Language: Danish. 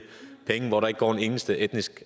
penge hvor der ikke går en eneste etnisk